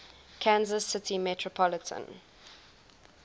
kansas city metropolitan